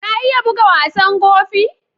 Ka iya bugan wasan Gofi?